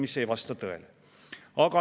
See aga ei vasta tõele.